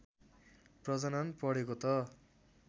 प्रजनन पढेको त